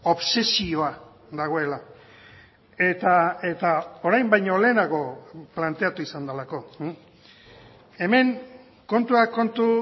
obsesioa dagoela eta orain baino lehenago planteatu izan delako hemen kontuak kontu